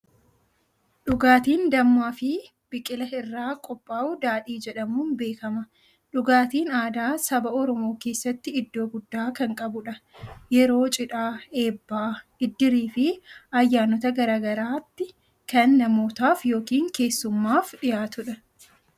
Dhugaatiin dammaa fi biqila irraa qophaa'u daadhii jedhamuun beekama. Dhugaatiin aadaa saba Oromoo keessatti iddoo guddaa kan qabudha. Yeroo cidhaa, eebbaa, iddirii fi ayyaanota garaa garaatti kan namootaaf yookiin keessummaaf dhiyaatudha.